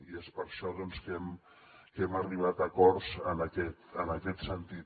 i és per això doncs que hem arribat a acords en aquest sentit